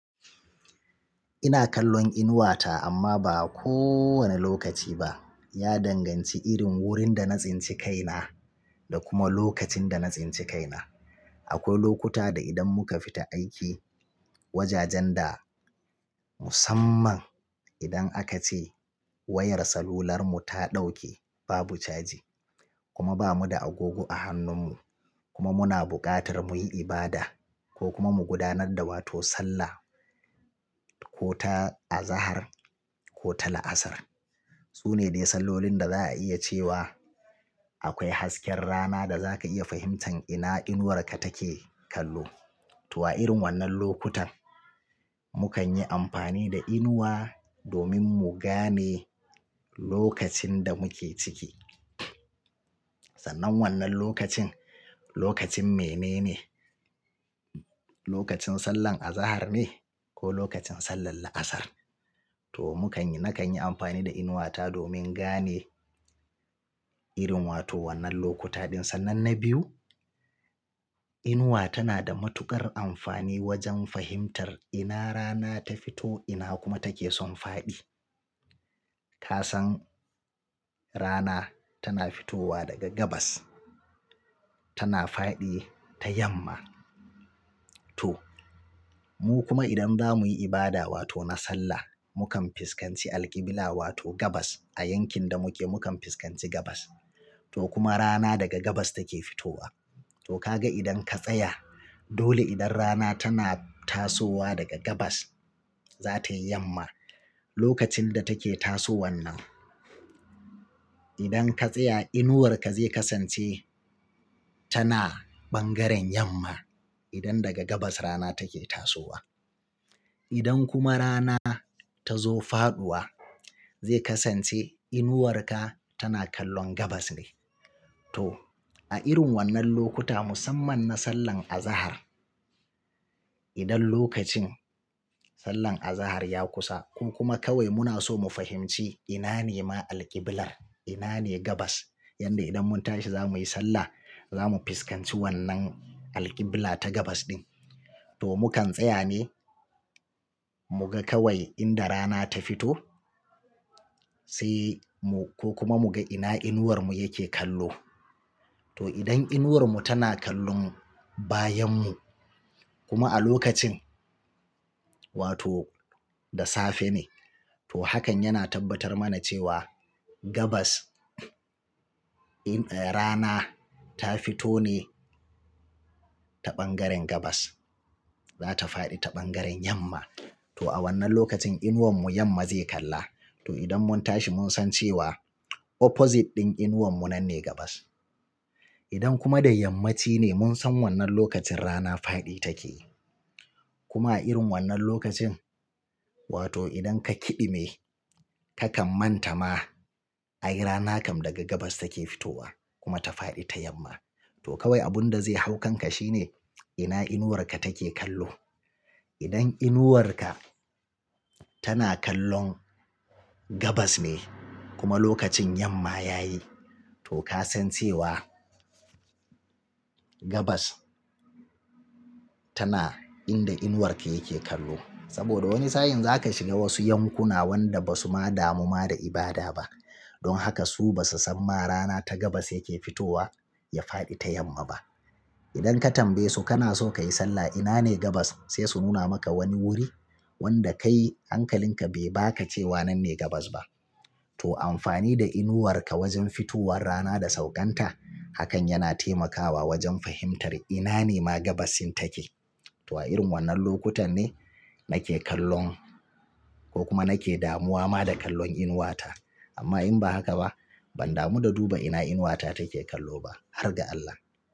Ina kallon inuwata amma ba kowane lokaci ba ya danganci irin wurin da na tsinci kaina da kuma lokacin da na tsince kaina. Akwai lokuta da idan muka fita aiki, wajajen da musamman idan aka ce wayar salular mu ta dauke babu caji kuma ba mu da agogo a hannun mu kuma muna buƙatar muyi ibada ko kuma mu gudanar da wato sallah ko ta azahar ko ta la'asar. Su ne dai sallolin da za a iya cewa akwai hasken rana da za ka iya fahimtan ina inuwarka take kallo. To a irin wannan lokutan, mu kan yi amfani da inuwa domin mu gane lokacin da muke ciki. Sannan wannan lokacin, lokacin mene ne? Lokacin sallan azahar ne ko lokacin sallar la'asar? To mu kan yi, na kan yi amfani da inuwata domin gane irin wato wannan lokuta ɗin. Sannan na biyu, inuwa tana da matuƙar amfani wajen fahimtar ina rana ta fito ina kuma take son faɗi. Kasan rana tana fitowa daga gabas tana faɗi ta yamma. To, mu kuma idan za mu yi ibada wato na sallah, mu kan fuskanci alƙibila wato gabas a yankin da muke mu kan fuskanci gabas. To kuma rana daga gabas take fitowa. To ka ga idan ka tsaya dole idan rana tana tasowa daga gabas, za tayi yamma. Lokacin da take tasowan nan, idan ka tsaya inuwarka zai kasance tana bangaren yamma idan daga gabas rana take tasowa. Idan kuma rana ta zo faɗuwa, zai kasance inuwarka tana kallon gabas ne. To a irin wannan lokuta musamman na sallan azahar, idan lokacin sallan azahar ya kusa ko kuma kawai muna so mu fahimci ina ne ma alƙibilar, ina ne gabas? Yanda idan mun tashi za mu yi sallah, za mu fuskanci wannan alƙibila ta gabas din. To mu kan tsaya ne mu ga kawai inda rana ta fito sai mu, ko kuma mu ga ina inuwarmu yake kallo. To idan inuwarmu tana kallon bayan mu kuma a lokacin wato da safe ne, to hakan yana tabbatar mana cewa gabas in, eh rana ta fito ne ta bangaren gabas. Za ta faɗi ta bangaren yamma. To a wannan lokacin inuwarmu yamma zai kalla. To idan mun tashi mun san cewa opposite din inuwarmu nan ne gabas. Idan kuma da yammaci ne mun san wannan lokacin rana faɗi take. Kuma a irin wannan lokacin wato idan ka kiɗime kakan manta ma ai rana kam daga gabas take fitowa kuma ta faɗi ta yamma. To kawai abunda zai haukanka shine ina inuwarka take kallo. Idan inuwarka tana kallon gabas ne kuma lokacin yamma ya yi, to ka san cewa gabas tana inda inuwarka yake kallo. Saboda wani sa'in za ka shiga wasu yankuna wanda ba su ma damu ma da ibada ba. Don haka su ba su san ma rana ta gabas yake fitowa ya faɗi ta yamma ba. Idan ka tambaye su kana so ka yi sallah ina ne gabas? Sai su nuna maka wani wuri wanda kai hankalinka bai baka cewa nan ne gabas ba. To amfani da inuwarka wajen fitowar rana da sauƙanta hakan yana taimakawa wajen fahimtar ina ne ma gabas in take. To a irin wannan lokutan ne nake kallon ko kuma nake damuwa ma da kallon inuwata. Amma in ba haka ba, ban damu da duba ina inuwata take kallo ba. Har ga Allah.